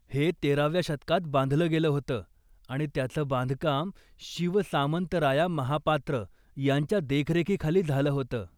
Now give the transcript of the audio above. हे तेराव्या शतकात बांधलं गेलं होतं आणि त्याचं बांधकाम शिव सामंतराया महापात्र यांच्या देखरेखीखाली झालं होतं.